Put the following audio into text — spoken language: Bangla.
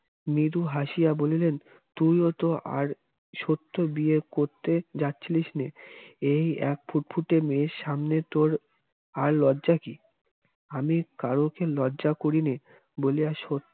মৃদু হাসিয়া বলিলেন তুইওতো আর সত্য বিয়ে করতে যাচ্ছিলিসনে এই এক ফুটফুটে মেয়ের সামনে তোর আর লজ্জা কি আমি কারুকে লজ্জা করিনে বলিয়া স